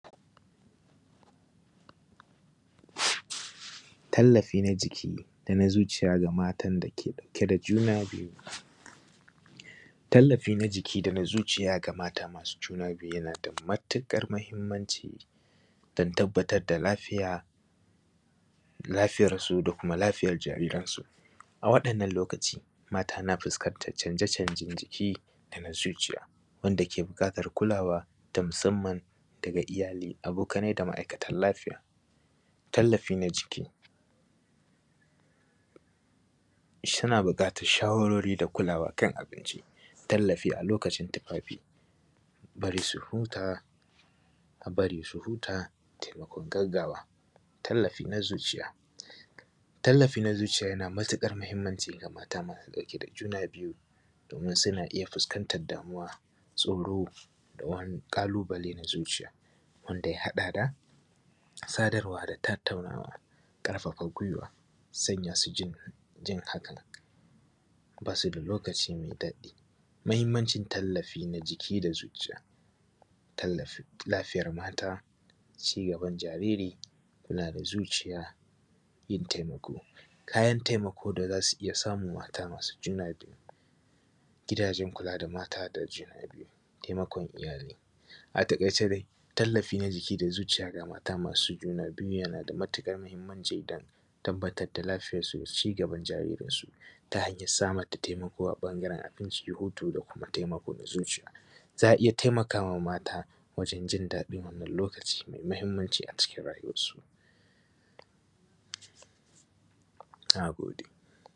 Tallafi na jiki da na zuciya ga matan da ke ɗauke da juna biyu Tallafi na jiki da na zuciya ga mata masu juna biyu yana da matuƙar muhimmanci don tabbatar da lafiyarsu da lafiyar jariransu. A waɗannan lokaci mata na fuskantar canje-canjen na jiki da na zuciya wanda ke buƙatar kulawa na iyali, abokanai da ma’aikatan lafiya. Tallafi na jiki, suna buƙatar shawarwari a kan abinci, tallafi a lokacin tufaafi, a barii su hutaa taimakon gaggawa,. Tallafi na zuciya yana da matuƙar muhimmanci ga mata masu ɗauke da junaa biyu domin suna iya fuskantar damuwa, tsoro da wani ƙalubale na zuciya wanda ya haɗa da sadarwa da tattaunawa, ƙarfafa guiwa a sanya su jin hakan basu da lokacin mai daɗi. Mahimmancin tallafi na jiki da zuciya, tallafin laafiyar mata, cigaban jariri, kula da zuciya da yin taimako. Kayan taimako da za su iya samun mata masu juna biyu, gidajen mata masu kula da junaa biyu, taimakon iyali. A taƙaice dai tallafi da zuciya ga mata masu juna biyu yana da matuƙar muhimmanci don tabbatar da lafiyarsu da cigaban jaririsun ta hanyar samar da taimako a ɓangaren abinci, hutu da kuma taimako na zuciya. Za a iya taimakawa mata wajen jin daɗin wannan lokaci mai muhimmanci a cikin rayuwarsu.